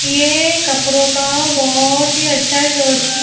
यह कपड़ों का बहुत ही अच्छा शोर --